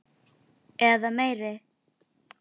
Hvernig gengur með Vask?